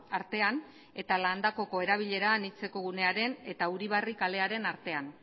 artean eta landakoko erabilera anitzeko gunearen eta uribarri kalearen artean